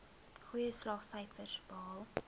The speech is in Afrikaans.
goeie slaagsyfers behaal